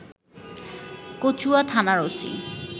কচুয়া থানার ওসি